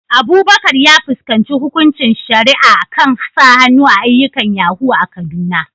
Abubakar ya fuskanci hukuncin shari'a kan sa hannu a ayyukan yahoo a Kaduna.